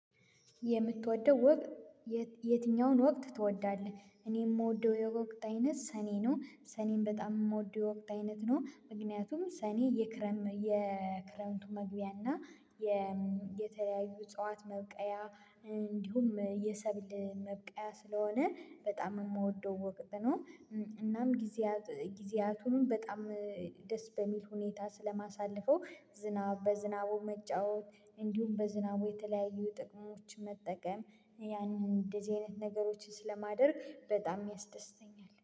የምትወደው ወቅት የትኛውን ወቅት ትወዳለህ? እኔ የምወደው የወቅት አይነት ሰኔ ነው። ሰኔም በጣም የምወደው ወቅት አይነት ነው ምክንያቱም ሰኔ የክረም የክረምቱ መግቢያ እና የተለያዩ እጽዋት መብቀያ እንዲሁም የሰብል መብቀያ ስለሆነ በጣም የምወደው ወቅት ነው እናም ጊዜያት ጊዜያቱንም በጣም ደስ በሚል ሁኔታ ስለማሳልፈው ዝናብ በዝናቡ መጫወት እንዲሁም በዝናቡ የተለያዩ ጥቅሞች መጠቀም ያንን እንደዚህ አይነት ነገሮችን ስለማደርግ በጣም ያስደስተኛል።